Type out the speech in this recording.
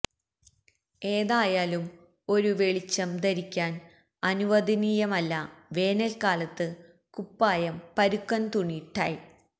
ഏതായാലും ഒരു വെളിച്ചം ധരിക്കാൻ അനുവദനീയമല്ല വേനൽക്കാലത്ത് കുപ്പായം പരുക്കൻ തുണി ടൈ